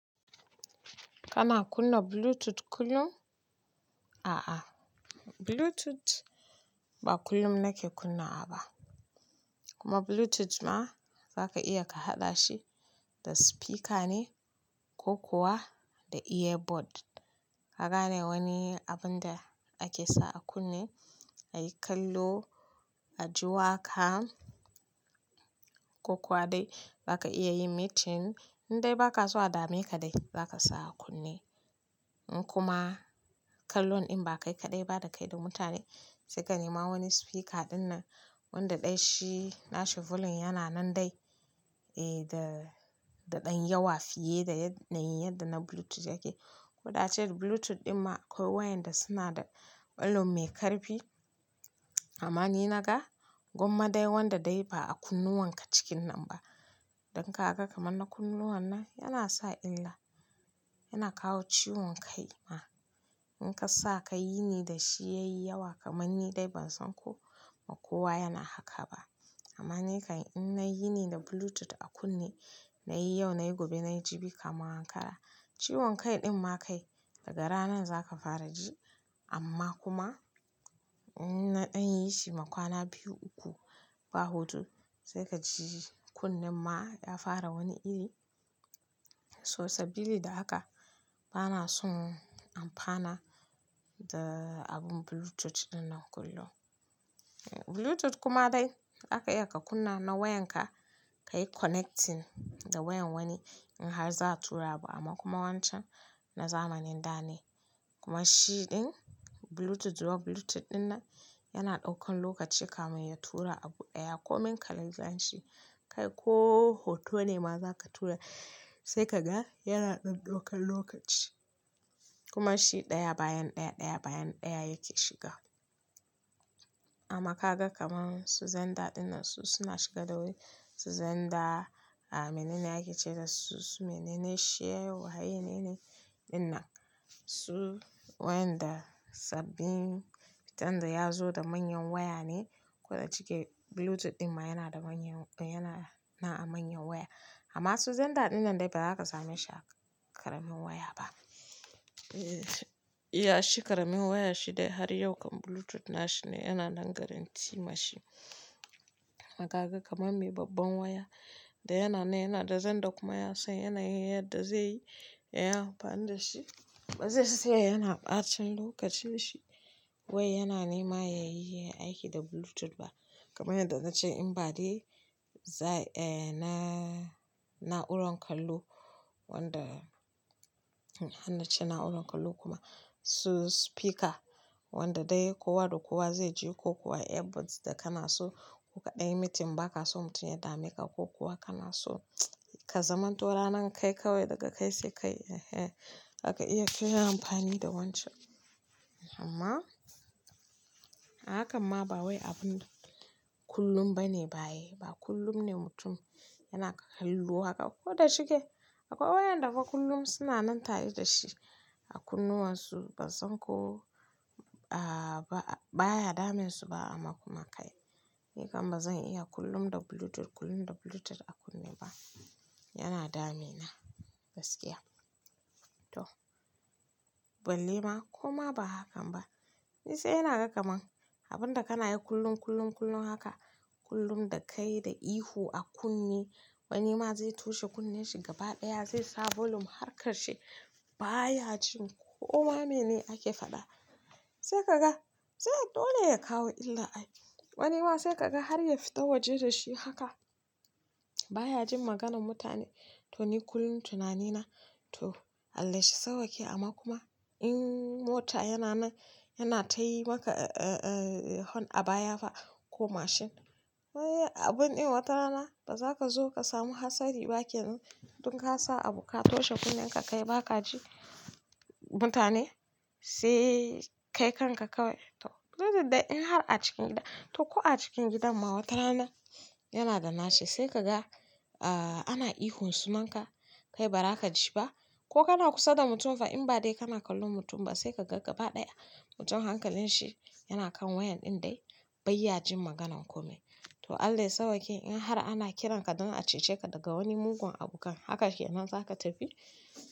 Kana kunna Bluetooth kullum? A'a Bluetooth ba kullum nake kunna wa ba. Kuma Bluetooth ma zaka iya ka haɗa shi da speeker ne ko kuwa da earbud. Kagane ne wani abun da ake sa a kunne ayi kallo a ji wa ka ko kuwa dai baka iya yin meeting in dai baka so a dame ka dai zaka sa a kunne. In kuma kallon in ba kai kaɗai ba da kai da mutane sai ka nema wani speeker dinnan wanda dai shi na shi volume yana nan dai eh da, da ɗan yawa fiye da yadda na Bluetooth yake. Ko da ace Bluetooth ɗin ma akwai waƴanda suna da volume mai ƙarfi. Amma ni na ga gwamma dai wanda dai ba a kunnuwan ka cikin nan ba. Don ka ga kamar na kunnuwan nan yana sa illa, yana kawo ciwon kai ma. In ka sa ka yini da shi yayi yawa kamar ni dai ban san ko ma kowa yana haka ba. Amma ni kan in nayi ni da Bluetooth a kunne nayi yau nayi gobe nayi jibi kamar hankala. Ciwon kai ɗin ma kai daga ranar zaka fara ji amma kuma in na ɗan yi shi ma kwana biyu uku ba hudu sai ka ji kunnen ma ya fara wani iri. So sabili da haka bana son amfana da abun Bluetooth dinnan kullum. Bluetooth kuma dai zaka iya ka kunna na wayan ka ka yi connecting da wayan wani in har za a tura abu amma kuma wancan na zamanin da ne. Kuma shi ɗin Bluetooth zuwa Bluetooth ɗinnan yana ɗaukan lokaci kamin ya tura abu ɗaya ko min ka la'anci kai ko hoto ne ma za ka tura sai ka ga yana ɗan ɗaukan lokaci. Kuma shi ɗaya bayan ɗaya, ɗaya bayan ɗaya yake shiga. Amma ka ga kamar su Zenda ɗinnan su suna shiga da wuri. Su Zenda a menene ake ce da su su menene sharewaya ne dinnan su wayan da sabbin fitan da ya zo da manyan waya ne. Ko da shike Bluetooth ɗinma yana da manyan yana na a manyan waya. Amma su Zenda ɗinnan dai ba za ka same shi a ƙaramin waya ba. Eya shi ƙaramin waya shi dai har yau kam Bluetooth na shi ne yana nan guarantee mashi. Dan ka ga kamar me babban waya da yana nan yana da zen da kuma ya san yana yi yadda zai yi. Yayi amfani da shi ba zai saya yana ɓacen lokacin shi wai yana nema ya yi aiki da Bluetooth ba. Kamar yadda na ce in ba dai, za eh na, na'uran kallo wanda, hannace na'uran kallo kuma su speaker wanda dai kowa da kowa zai ji ko kuwa earbuds da kana so ko ka ɗanyi meeting ba ka so mutum ya dame ka ko kuwa kana so ka zaman to ra nan kai kawai daga kai sai kai. Ehe zaka iya kayi amfani da wancan. Amma a hakan ma ba wai abun kullum ba ne ba yayi. Ba kullum ne mutum yana kalluwa haka. Ko da shike akwai waƴanda fa kullum suna nan tare da shi. A kunnuwan su ban san ko, a ba baya damun su ba amma kuma kai. Ni kan ba zan iya kullum da Bluetooth, kullum da Bluetooth a kunne ba. Yana dame na gaskiya. To balle ma koma ba hakan ba. Ni sai ina ga kamar abun da kana yi kullum, kullum, kullum haka kullum da kai da ihu a kunne wani ma zai toshe kunnen shi gaba ɗaya zai sa volume har ƙarshe baya jin ko ma mene ake faɗa. Sai ka ga sai dole ya kawo illa ai. Wani ma sai ka ga har ya fita waje da shi haka baya jin maganan mutane. To ni kullum tunani na to Allah shi sauƙe amma kuma in mota yana nan yana ta yi maka eh, eh, eh hon a baya fa ko mashin. Wai abun ɗin wata rana ba za ka zo ka samu hatsari ba kenan dan ka sa abu ka toshe kunnen ka kai ba ka ji mutane sai kai kanka kawai. To Bluetooth dai in har a cikin gida to ko a cikin gidan ma wata rana yana da nashi sai ka ga a ana ihun saman ka kai ba za ka ji ba. Ko kana kusa da mutum fa in ba dai kana kallon mutum ba sai ka ga gaba ɗaya mutum hankalin shi yana kan wayan ɗin dai bai ya jin maganan ko mai. To Allah ya sauƙe in har ana kiran ka don a cece ka daga wani mugun abukan haka ke nan za ka tafi.